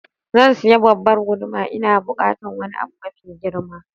Zan sayi babbar guduma, Ina bukatan wani abu mafi girma.